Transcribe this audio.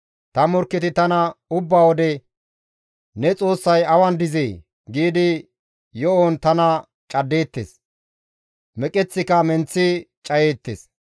Ta morkketi tana ubba wode, «Ne Xoossay awan dizee?» giidi yo7on tana caddeettes; meqeththika menththi cayeettes.